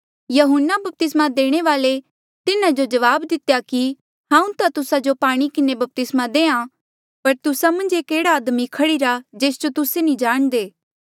यहून्ना बपतिस्मा देणे वाल्ऐ तिन्हा जो जवाब दितेया कि हांऊँ ता तुस्सा जो पाणी किन्हें बपतिस्मा देहां पर तुस्सा मन्झ एक एह्ड़ा आदमी खड़ीरा जेस जो तुस्से नी जाणदे